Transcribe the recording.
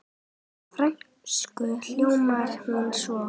Á frönsku hljómar hún svona